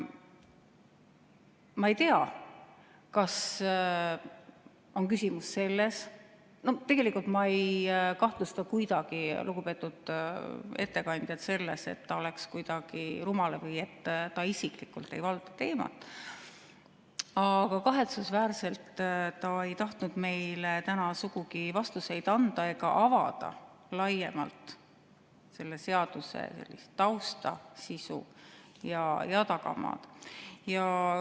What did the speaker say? Ma ei tea, kas on küsimus selles – no tegelikult ma ei kahtlusta kuidagi lugupeetud ettekandjat selles, et ta oleks kuidagi rumal või et ta ei valdaks teemat, aga kahetsusväärselt ei tahtnud ta meile täna sugugi vastuseid anda ega avada laiemalt selle seaduse tausta, sisu ja tagamaad.